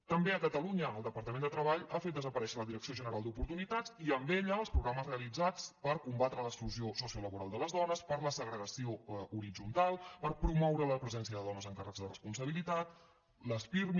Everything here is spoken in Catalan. també a catalunya el departament de treball ha fet desaparèixer la direcció general d’oportunitats i amb ella els programes realitzats per combatre l’exclusió sociolaboral de les dones per la segregació horitzontal per promoure la presència de dones en càrrecs de responsabilitat les pirmi